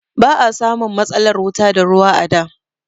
Ba a samun matsalar wuta da ruwa a da.